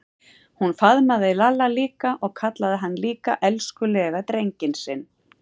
Hún faðmaði Lalla líka og kallaði hann líka elskulega drenginn sinn.